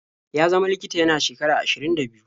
Ya zama likita yana shekara ashirin da biyu.